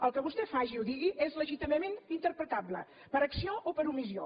el que vostè faci o digui és legítimament interpretable per acció o per omissió